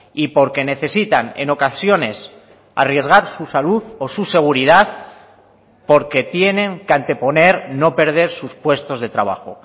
y porque necesitan en ocasiones arriesgar su salud o su seguridad porque tienen que anteponer no perder sus puestos de trabajo